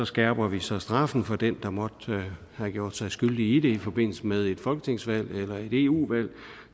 skærper vi så straffen for den der måtte have gjort sig skyldig i det i forbindelse med et folketingsvalg eller et eu valg